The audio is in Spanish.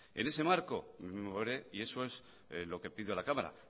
en ese marco me moveré y eso es lo que pido a la cámara